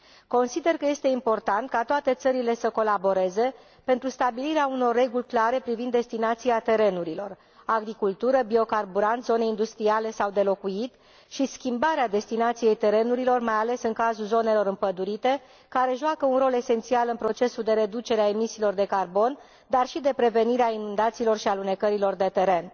Consider că este important ca toate țările să colaboreze pentru stabilirea unor reguli clare privind destinația terenurilor, agricultura, biocarburanții, zonele industriale sau de locuit și schimbarea destinației terenurilor, mai ales în cazul zonelor împădurite, care joacă un rol esențial în procesul de reducere a emisiilor de carbon, dar și de prevenire a inundațiilor și a alunecărilor de teren.